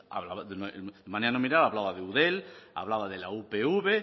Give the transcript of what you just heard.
de manera nominal hablaba de eudel hablaba de la upv